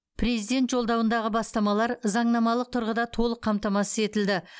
президент жолдауындағы бастамалар заңнамалық тұрғыда толық қамтамасыз етілді